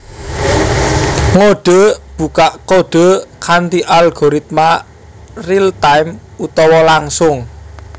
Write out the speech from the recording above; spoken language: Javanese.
Ngodhe/bukak kodhe kanthi algoritma real time utawa langsung